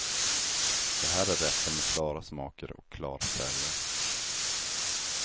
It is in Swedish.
Det här är rätter med klara smaker och klara färger.